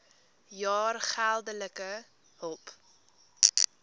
jaar geldelike hulp